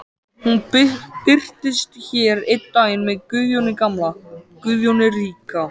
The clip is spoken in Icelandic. Hún birtist hér einn daginn með Guðjóni gamla, Guðjóni ríka.